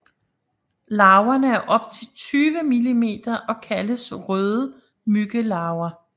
Larverne er op til 20 millimeter og kaldes røde myggelarver